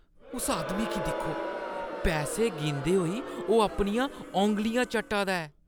उस आदमी गी दिक्खो। पैसे गिनदे होई ओह् अपनियां औंगलियां चट्टा दा ऐ।